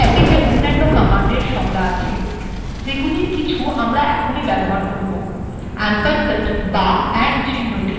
এই প্যাকেজে অন্যান্য কমান্ডের সংজ্ঞা আছে যেগুলির কিছু আমরা এখনই ব্যবহার করব